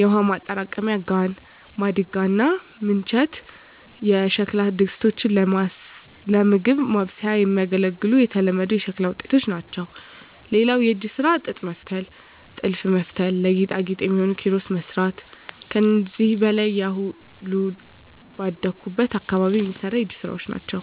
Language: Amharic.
የውሃ ማጠራቀሚያ ጋን፣ ማድጋ እና ምንቸት የሸክላ ድስቶች ለምግብ ማብሰያ የሚያገለግሉ የተለመዱ የሸክላ ውጤቶች ናቸው። *ሌላው የእጅ ስራ ጥጥ መፍተል *ጥልፍ መጥለፍ *ለጌጣጌጥ የሚሆኑ ኪሮስ መስራት ከዚህ በላይ ያሉ ሁሉም ባደኩበት አካባቢ የሚሰሩ የእጅ ስራወች ናቸው።